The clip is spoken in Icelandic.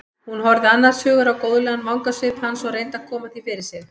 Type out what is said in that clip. Hún horfði annars hugar á góðlegan vangasvip hans og reyndi að koma því fyrir sig.